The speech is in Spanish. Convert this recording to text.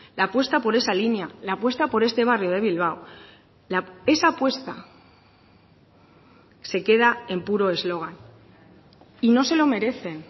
la apuesta por esa línea la apuesta por este barrio de bilbao esa apuesta se queda en puro eslogan y no se lo merecen